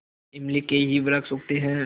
इमली के ही वृक्ष उगते हैं